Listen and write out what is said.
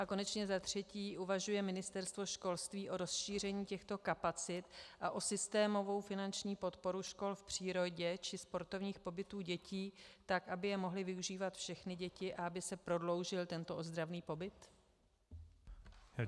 A konečně za třetí, uvažuje Ministerstvo školství o rozšíření těchto kapacit a o systémovou finanční podporu škol v přírodě či sportovních pobytů dětí tak, aby je mohly využívat všechny děti a aby se prodloužil tento ozdravný pobyt?